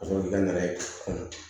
Ka sɔrɔ ka na n'a ye